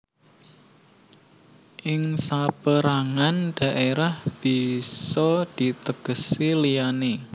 Ing saperangan dhaerah bisa ditegesi liyane